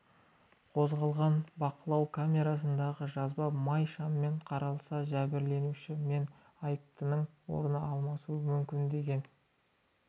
қозғалған бақылау камерасындағы жазба май шаммен қаралса жәбірленуші мен айыптының орны алмасуы мүмкін бе деген